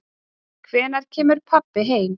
Hvenær kemur pabbi heim?